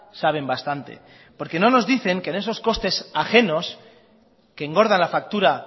saben bastante porque no nos dicen que en esos costes ajenos que engorda la factura